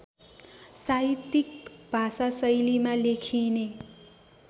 साहित्यिक भाषाशैलीमा लेखिने